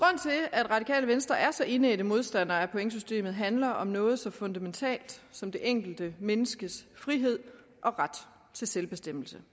at radikale venstre er så indædte modstandere af pointsystemet handler om noget så fundamentalt som det enkelte menneskes frihed og ret til selvbestemmelse